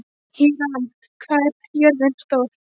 Híram, hvað er jörðin stór?